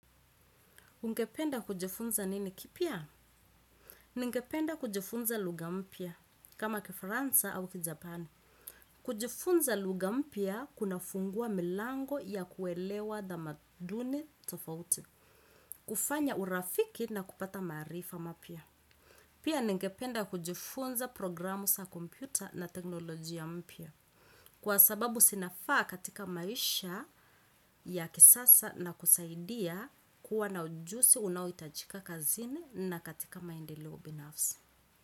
Ungependa kujifunza nini kipya? Ningependa kujifunza lugha mpya kama kifaransa au kijapani. Kujifunza lugha mpya kuna fungua milango ya kuelewa tamaduni tofauti. Kufanya urafiki na kupata maarifa mapya. Pia ningependa kujifunza programu za kompyuta na teknolojia mpya. Kwa sababu zinafaa katika maisha ya kisasa na kusaidia kuwa na ujuzi unaohitajika kazini na katika maendeleo binafsi.